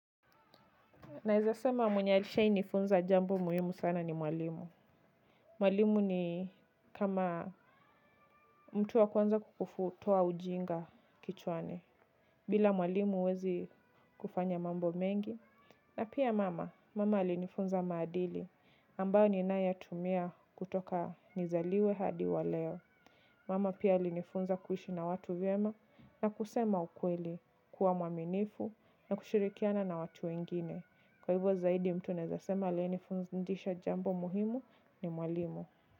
Naeza sema mwenye alishai nifunza jambo muhimu sana ni mwalimu. Mwalimu ni kama mtu wa kwanza kukufutoa ujinga kichwani bila mwalimu huwezi kufanya mambo mengi. Na pia mama, mama alinifunza maadili ambayo ninayatumia kutoka nizaliwe hadi wa leo. Mama pia alinifunza kuishi na watu vyema na kusema ukweli kuwa mwaminifu na kushirikiana na watu wengine. Kwa hivyo zaidi mtu naeza sema aliyenifundisha jambo muhimu ni mwalimu.